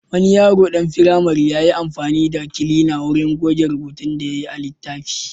Wani yaro ɗan firamare ya yi amfani da kilina wurin goge rubutun da yayi a littafi.